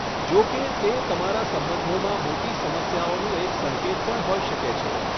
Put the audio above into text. જો કે, તે તમારા સંબંધોમાં મોટી સમસ્યાઓનો એક સંકેત પણ હોઈ શકે છે.